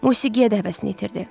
Musiqiyə də həvəsini itirdi.